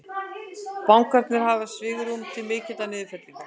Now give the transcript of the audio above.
Bankarnir hafi svigrúm til mikillar niðurfellingar